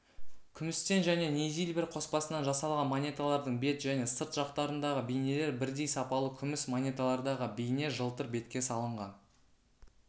күмістен және нейзильбер қоспасынан жасалған монеталардың бет және сырт жақтарындағы бейнелер бірдей сапалы күміс монеталардағы бейне жылтыр бетке салынған